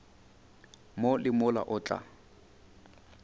mo le mola o tla